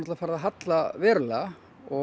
farið að halla allverulega